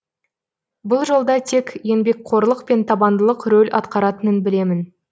бұл жолда тек еңбекқорлық пен табандылық рөл атқаратынын білемін